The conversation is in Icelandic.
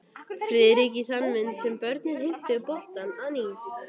Friðrik í þann mund sem börnin heimtu boltann að nýju.